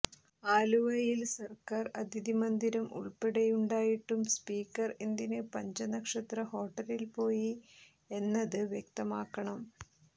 ആലുവയിൽ സർക്കാർ അതിഥി മന്ദിരം ഉൾപ്പെടെ ഉണ്ടായിട്ടും സ്പീക്കർ എന്തിന് പഞ്ചനക്ഷത്ര ഹോട്ടലിൽ പോയി എന്നത് വ്യക്തമാക്കണം